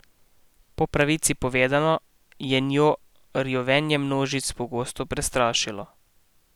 Po pravici povedano, je njo rjovenje množic pogosto prestrašilo.